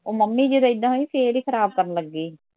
ਉਹ ਮੰਮੀ ਜਦੋਂ ਏਦਾਂ ਹੋਈ ਫੇਰ ਈ ਖਰਾਬ ਕਰਨ ਲੱਗੀ